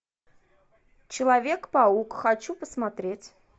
человек паук хочу посмотреть